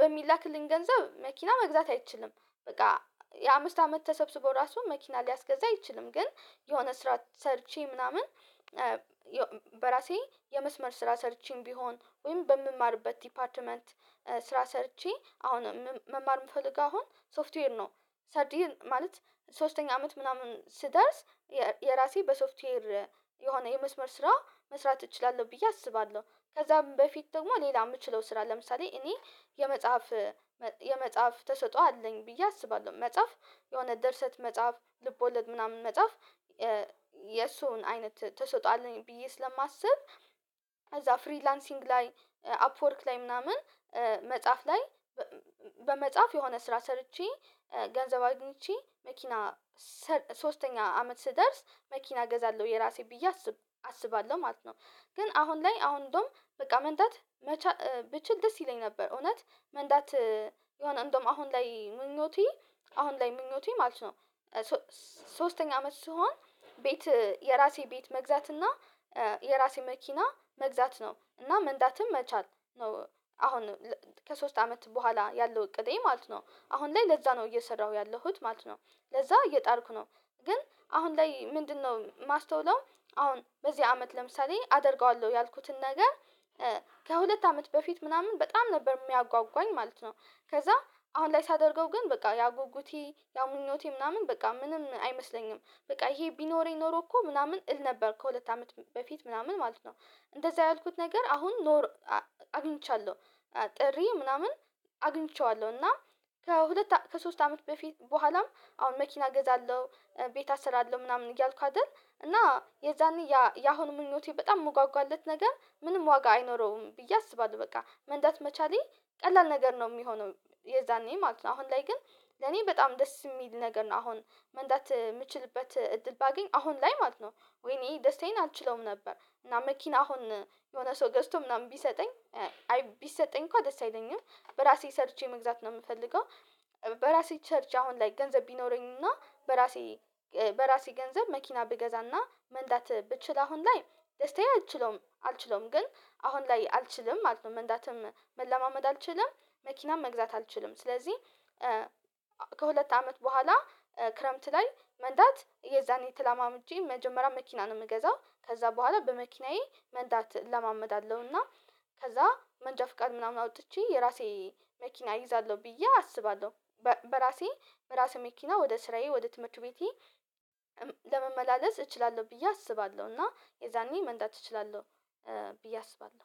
በሚላክልኝ ገንዘብ መኪና መግዛት አይችልም። በቃ የአምስት አመት ተሰብስቦ ራሱ መኪና ሊያስገዛ አይችልም ግን የሆነ ስራ ሰርቼ ምናምን በራሴ የመስመር ስራ ሰርቼም ቢሆን ወይም በምማርበት ዲፓርትመንት ስራ ሰርቼ አሁን መማር የምፈልግ አሁን ሶፍትዌር ነው። ሰርድ ይር ማለት ሶስተኛ አመት ምናምን ስደርስ የራሴ በሶፍትዌር የሆነ የመስመር ስራ መስራት እችላለሁ ብዬ አስባለሁ። ከዛም በፊት ደግሞ ሌላ የምችለው ስራ ለምሳሌ እኔ የመጽሐፍ የመጽሐፍ ተሰጥኦ አለኝ ብዬ አስባለሁ መጽሐፍ የሆነ ድርሰት መጻፍ ልቦለድ ምናምን መጻፍ የእሱን አይነት ትሰጥዖ አለኝ ብዬ ስለማስብ። ከዛ ፍሪላንሲንግ ላይ አፕወርክ ላይ ምናምን መጽሐፍ ላይ በመጽሐፍ የሆነ ስራ ሰርቼ ገንዘብ አግኝቼ መኪና ሰር ሶስተኛ አመት ስደርስ መኪና እገዛለሁ የራሴ ብዬ አስብ አስባለሁ ማለት ነው። ግን አሁን ላይ አሁን እንደውም በቃ መንዳት መቻ ብችል ደስ ይለኝ ነበር እውነት መንዳት የሆነ እንደውም አሁን ላይ ምኞቴ አሁን ላይ ምኞቴ ማለት ነው። ሶ ሶስተኛ አመት ስሆን ቤት የራሴ ቤት መግዛት እና የራሴ መኪና መግዛት ነው እና መንዳትም መቻል ነው። አሁን ከሶስት አመት በኋላ ያለው እቅድ ማለት ነው አሁን ላይ ለዛ ነው እየሰራሁ ያለሁት ማለት ነው። ለዛ እየጣርኩ ነው። ግን አሁን ላይ ምንድነው? ማስተውለው አሁን በዚህ አመት ለምሳሌ አደርገዋለሁ ያልኩትን ነገር ከሁለት አመት በፊት ምናምን በጣም ነበር የሚያጓጓኝ ማለት ነው። ከዛ አሁን ላይ ሳደርገው ግን በቃ ያ ጉጉቴ ያ ምኞቴ ምናምን በቃ ምንም አይመስለኝም በቃ ይሄ ቢኖረኝ ኖሮ እኮ ምናምን እል ነበር ከሁለት አመት በፊት ምናምን ማለት ነው። እንደዛ ያልኩት ነገር አሁን ኖር አግኝቻለሁ። ጥሬ ምናምን አግኝቼዋለሁ እና ከሁለት ከሶስት አመት በፊት በኋላም አሁን መኪና እገዛለሁ ቤት አሰራርለሁ ምናምን እያልኩ አይደል እና የዛኔ ያ ያሁኑ ምኞቴ በጣም ምጓጓለት ነገር ምንም ዋጋ አይኖረውም ብዬ አስባለሁ። በቃ መንዳት መቻሌ ቀላል ነገር ነው የሚሆነው የዛኔ ማለት ነው። አሁን ላይ ግን ለኔ በጣም ደስ የሚል ነገር ነው። አሁን መንዳት የምችልበት እድል ባገኝ አሁን ላይ ማለት ነው። ወይኔ ደስታዬን አልችለውም ነበር እና መኪና አሁን የሆነ ሰው ገዝቶ ምናምን ቢሰጠኝ ቢሰጠኝ እንኳን ደስ አይለኝም። በራሴ ሰርቼ መግዛት ነው የምፈልገው። በራሴ ሰርቼ አሁን ላይ ገንዘብ ቢኖረኝና በራሴ በራሴ ገንዘብ መኪና ብገዛና መንዳት ብችል አሁን ላይ ደስታዬ አልችለውም አልችለውም ግን አሁን ላይ አልችልም ማለት ነው። መንዳትም መለማመድ አልችልም መኪናም መግዛት አልችልም። ስለዚህ ከሁለት አመት በኋላ ክረምት ላይ መንዳት የዛኔ ተለማምጄ መጀመሪያ መኪና ነው የምገዛው ከዛ በኋላ በመኪናዬ መንዳት እለማመዳለሁ እና ከዛ መንጃ ፍቃድ ምናምን አውጥቼ የራሴ መኪና እይዛለሁ ብዬ አስባለሁ። በራሴ ራሴ መኪና ወደ ስራዬ ወደ ትምህርት ቤቴ እም ለመመላለስ እችላለሁ ብዬ አስባለሁ እና የዛኔ መንዳት እችላለሁ። ብዬ አስባለሁ